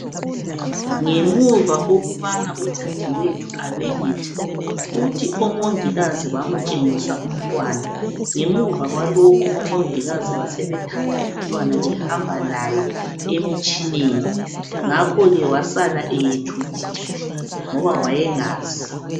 Ngemuva kokubana udadewethu abelethe, uthi omongikazi bamtshengisa umntwana. Ngemuva kwalokho omongikazi basebethatha umntwana behamba laye emitshineni. Ngakhoke wasala eyethukile ngoba wayengazi.